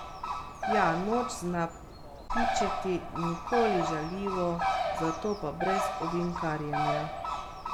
Ja, Noč zna pičiti, nikoli žaljivo, zato pa brez ovinkarjenja.